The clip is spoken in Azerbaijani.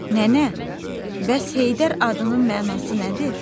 Nənə, bəs Heydər adının mənası nədir?